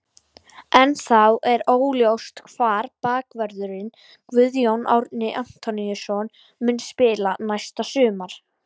Ennþá er óljóst hvar bakvörðurinn Guðjón Árni Antoníusson mun spila næsta sumar.